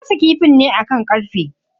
Na gasa kifin ne akan karfe.